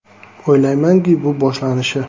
O‘ylaymanki, bu boshlanishi.